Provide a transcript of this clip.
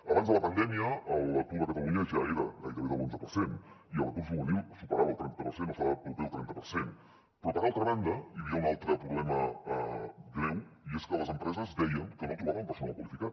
abans de la pandèmia l’atur a catalunya ja era gairebé de l’onze per cent i l’atur juvenil superava el trenta per cent o estava proper al trenta per cent però per altra banda hi havia un altre problema greu i és que les empreses deien que no trobaven personal qualificat